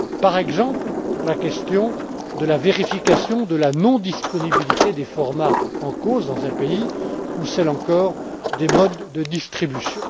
Par exemple, la question de la vérification de la non disponibilité des formats en cause dans un pays ou celle, encore, des modes de distribution.